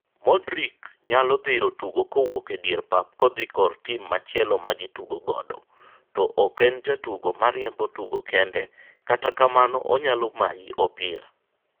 Modric nyalo dhiro tugo kowuok e dier pap kodhi kor tim machielo magi tugo godo, to ok en jatugo mariembo tugo kende kata kamano onyalo mayi opira.